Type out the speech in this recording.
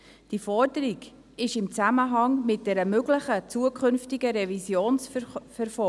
Diese Forderung ist in Zusammenhang mit einer möglichen zukünftigen Revision zu verfolgen.